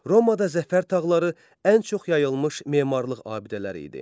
Romada zəfər tağları ən çox yayılmış memarlıq abidələri idi.